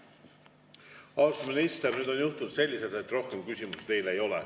Austatud minister, nüüd on juhtunud selliselt, et rohkem küsimusi teile ei ole.